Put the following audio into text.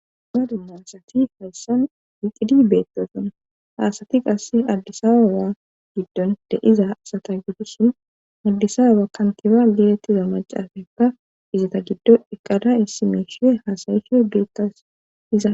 Naadu marasati hayssan wiqidi beettosona haasati qass addisawa waa giddon deiza asata giddusin maddisawa kantiba gelettiza macaafeppa izata giddo eqada issi miishie haasayisho beettas iza.